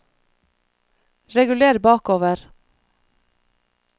reguler bakover